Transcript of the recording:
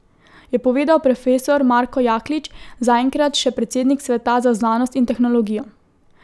Je povedal profesor Marko Jaklič, zaenkrat še predsednik sveta za znanost in tehnologijo.